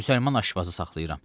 Müsəlman aşpazı saxlayıram.